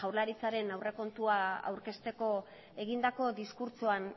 jaurlaritzaren aurrekontua aurkezteko egindako diskurtsoan